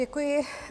Děkuji.